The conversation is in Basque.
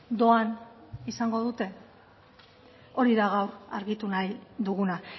doan izango dute hori da gaur argitu nahi duguna